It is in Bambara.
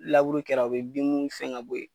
Laburu kɛra u bɛ bin mun fɛn ka bɔ ye.